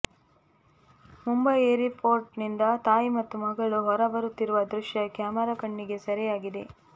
Mumbai airport ನಿಂದ ತಾಯಿ ಮತ್ತು ಮಗಳು ಹೊರ ಬರುತ್ತಿರುವ ದೃಶ್ಯ ಕ್ಯಾಮರಾ ಕಣ್ಣಿಗೆ ಸೆರೆಯಾಗಿದೆ